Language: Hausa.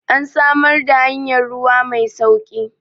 an samar da hanyar ruwa Mai sauki!